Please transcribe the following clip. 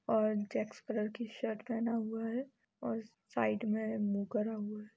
और checks colour की shirt पहना हुआ है और साइड में मुँह करा हुआ है।